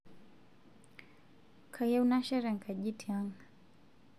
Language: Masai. kayieu nashet enkaji tiang'